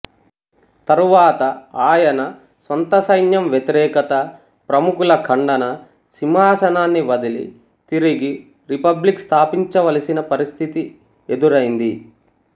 తరువాత ఆయన స్వంతసైన్యం వ్యతిరేకత ప్రముఖులఖండన సింహాసనాన్ని వదిలి తిరిగి రిపబ్లిక్ స్థాపించవలసిన పరిస్థితి ఎఉదురైంది